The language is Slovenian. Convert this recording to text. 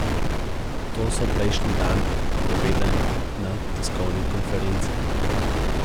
To so prejšnji dan povedali na tiskovni konferenci.